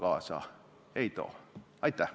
Aitäh!